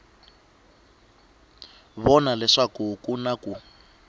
vona leswaku ku na ku